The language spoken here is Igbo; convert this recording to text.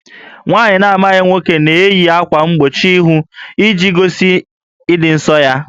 Nwaanyị na-amaghị nwoke na-eyi ákwà mgbochi íhù iji gosi ịdị ǹsọ́ ya